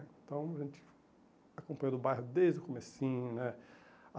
Então a gente acompanhou o bairro desde o comecinho, né?